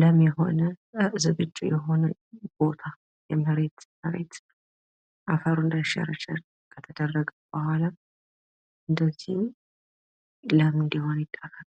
ለም የሆነ የእርሻ መሬት ሲሆን፤ በዚህ መልኩ በእርከን ከተሰራ በኋላ ለእርሻ ዝግጁ ይደረጋል።